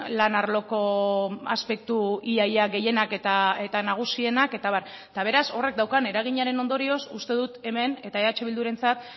lan arloko aspektu ia ia gehienak eta nagusienak eta abar eta beraz horrek daukan eraginaren ondorioz uste dut hemen eta eh bildurentzat